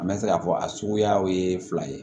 An mɛ se k'a fɔ a suguya ye fila ye